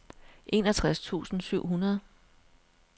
enogtres tusind syv hundrede